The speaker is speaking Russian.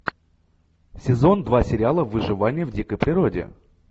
сезон два сериала выживание в дикой природе